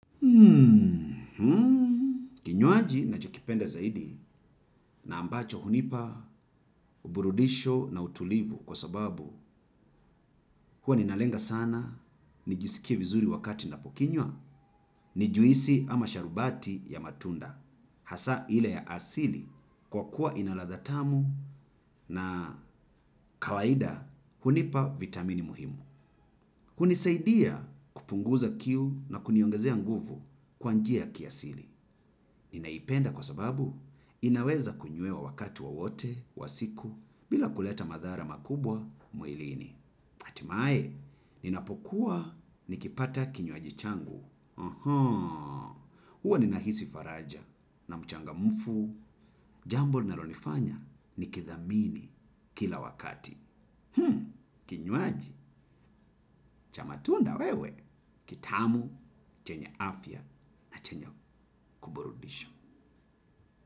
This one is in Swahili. Kinyoaji najokipenda zaidi na ambacho hunipa uburudisho na utulivu kwa sababu huwa ninalenga sana, nijisikie vizuri wakati napokinywa, nijuisi ama sharubati ya matunda. Hasa hile ya asili kwa kuwa inaladha tamu na kawaida hunipa vitamini muhimu. Kunisaidia kupunguza kiu na kuniyongezea nguvu kwa njia kiasili. Ninaipenda kwa sababu inaweza kunyuewa wakati wowote, wa siku, bila kuleta madhara makubwa muilini. Atimae, ninapokuwa nikipata kinyoaji changu. Huwa ni nahisi faraja na mchanga mfu, jambo linalonifanya nikithamini kila wakati. Kinywaji, cha matunda wewe, kitamu, chenye afya na chenye kuburudisho.